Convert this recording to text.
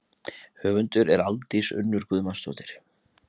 Höfundur er Aldís Unnur Guðmundsdóttir.